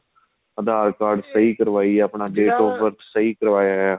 aadhar card ਸਹੀਂ ਕਰਵਾਏ ਆਪਣਾਂ date of birth ਸਹੀਂ ਕਰਵਾਇਆ